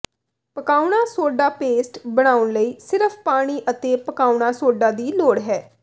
ਪਕਾਉਣਾ soda paste ਬਣਾਉਣ ਲਈ ਸਿਰਫ ਪਾਣੀ ਅਤੇ ਪਕਾਉਣਾ ਸੋਡਾ ਦੀ ਲੋੜ ਹੈ